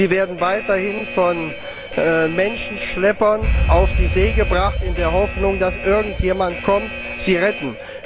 Sie werden weiterhin von Menschenschleppern auf die See gebracht in der Hoffnung, dass irgendjemand kommt, sie zu retten.